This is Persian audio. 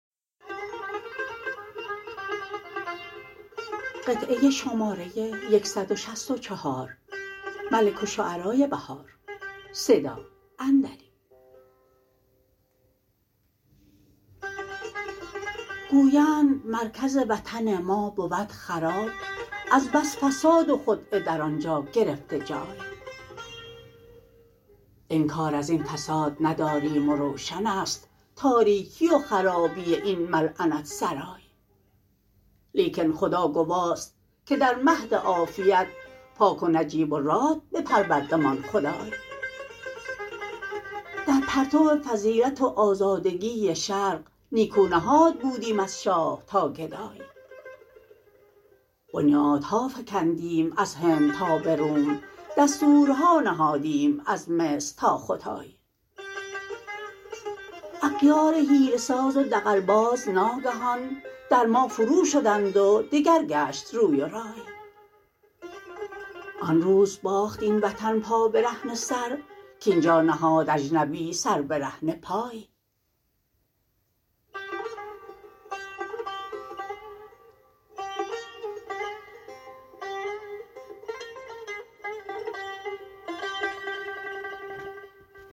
گویند مرکز وطن ما بود خراب از بس فساد و خدعه در آنجا گرفته جای انکار ازین فساد نداریم و روشن است تاربکی و خرابی این ملعنت سرای لیکن خدا گواست که در مهد عافیت پاک و نجیب و راد بپروردمان خدای در پرتو فضیلت و آزادگی شرق نیکو نهاد بودیم از شاه تا گدای بنیادها فکندیم از هند تا به روم دستورها نهادیم از مصر تا ختای اغیار حیله ساز و دغل باز ناگهان در ما فرو شدند و دگر گشت روی و رای آن روز باخت این وطن پابرهنه سر کاینجا نهاد اجنبی سر برهنه پای